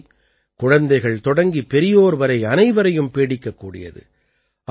இந்த நோய் குழந்தைகள் தொடங்கி பெரியோர் வரை அனைவரையும் பீடிக்கக்கூடியது